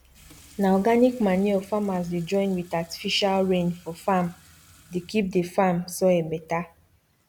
na organic manure farmers dey join with artifical rain for farmdey keep the farm soil better